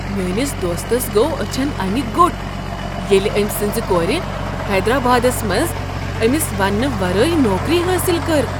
میٲنس دوستس گوٚو أچھن انہ گوٚٹ ییٚلہ أمۍ سٕنٛز کور حیدرآبادس منز أمس ونٛنہٕ ورٲے نوکری حٲصل کٔر۔